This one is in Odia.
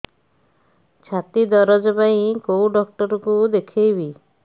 ଛାତି ଦରଜ ପାଇଁ କୋଉ ଡକ୍ଟର କୁ ଦେଖେଇବି